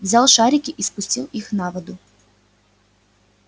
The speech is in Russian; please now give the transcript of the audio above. взял шарики и спустил их на воду